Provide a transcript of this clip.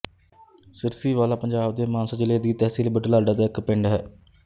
ਸਿਰਸੀਵਾਲਾ ਪੰਜਾਬ ਦੇ ਮਾਨਸਾ ਜ਼ਿਲ੍ਹੇ ਦੀ ਤਹਿਸੀਲ ਬੁਢਲਾਡਾ ਦਾ ਇੱਕ ਪਿੰਡ ਹੈ